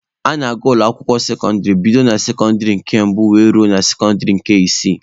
A na-agụ ụlọ akwụkwọ sekọndịrị bido na sekọndịrị nke mbụ were ruo na sekọndịrị nke isii